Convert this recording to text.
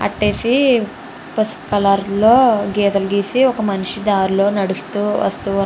అట్టేసి పసుపు కలర్ లో గీతాలు గీసి ఒక మనిషి దారి లో నడుస్తూ వస్తూ --